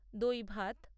দই ভাত